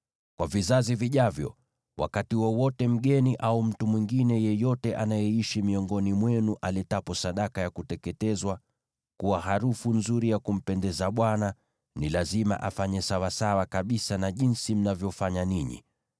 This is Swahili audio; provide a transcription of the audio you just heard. Kwa vizazi vijavyo, wakati wowote mgeni au mtu mwingine yeyote anayeishi miongoni mwenu aletapo sadaka ya kuteketezwa kuwa harufu nzuri ya kumpendeza Bwana , ni lazima afanye sawasawa kabisa na jinsi mnavyofanya ninyi.